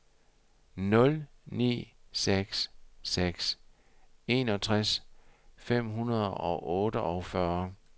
nul ni seks seks enogtres fem hundrede og otteogfyrre